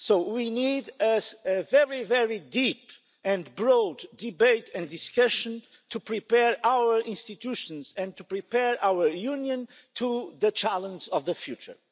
We need a very, very deep and broad debate and discussion to prepare our institutions and to prepare our Union for the challenge of the future.